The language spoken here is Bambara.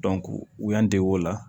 u y'an dege o la